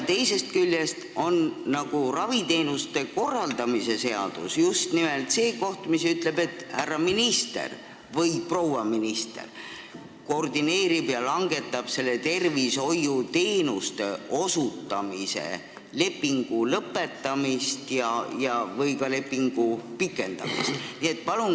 Tervishoiuteenuste korraldamise seadus aga ütleb, et härra või proua minister koordineerib seda tööd ja langetab otsuseid tervishoiuteenuste osutamise lepingu lõpetamise või pikendamise kohta.